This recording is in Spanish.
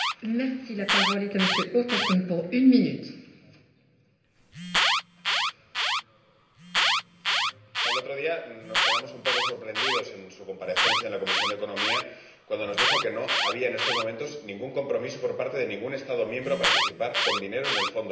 Señora Presidenta, el otro día nos quedamos un poco sorprendidos en su comparecencia en la Comisión de Economía, cuando nos dijo que no había en estos momentos ningún compromiso por parte de ningún Estado miembro para participar con dinero en el Fondo Juncker.